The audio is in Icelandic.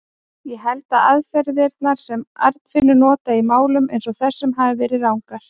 Ég held að aðferðirnar, sem Arnfinnur notaði í málum eins og þessum, hafi verið rangar.